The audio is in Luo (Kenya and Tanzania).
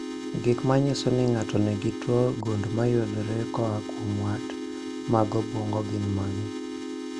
Gik manyiso ni ng'ato nigi tuo gund mayudore koa kuom wat mag obwongo gin mage?